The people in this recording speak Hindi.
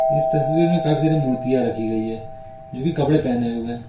इस तस्वीर में काफी सारी मूर्तियां रखी गई है जो की कपड़े पहने हुए है।